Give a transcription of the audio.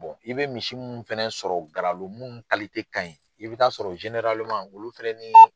i bɛ misi minnu fɛnɛ sɔrɔ Garalo mun ka ɲi i bɛ t'a sɔrɔ olu fɛnɛni